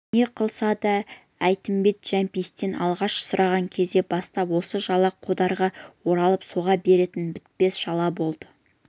не қылса да әйтімбет жәмпейістен алғаш сұраған кезден бастап осы жала қодарға оралып соға беретін бітпес жала болды